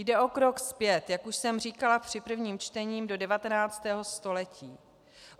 Jde o krok zpět, jak už jsem říkala při prvním čtení, do 19. století.